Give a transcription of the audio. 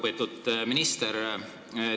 Väga lugupeetud minister!